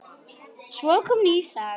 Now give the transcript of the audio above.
Svo kom ný saga.